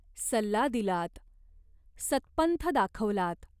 सल्ला दिलात. सत्पंथ दाखवलात.